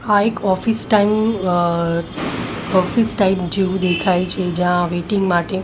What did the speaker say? આ એક office time અહ ઓફિસ ટાઈપ જેવું દેખાય છે જ્યાં વેઈટિંગ માટે--